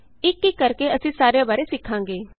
ਇਕ ਇਕ ਕਰਕੇ ਅਸੀਂ ਸਾਰਿਆਂ ਬਾਰੇ ਸਿੱਖਾਂਗੇ